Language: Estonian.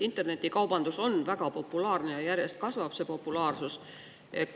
Internetikaubandus on väga populaarne ja selle populaarsus järjest kasvab.